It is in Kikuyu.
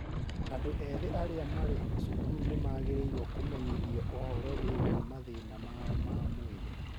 Andũ ethĩ arĩa marĩ cukuru nĩ magĩrĩirũo kũmenyithio ũhoro wĩgiĩ mathĩna mao ma mwĩrĩ.